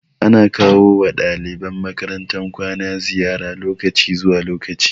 Ana kawo wa ɗaliban makarantar kwana ziyara lokaci zuwa lokaci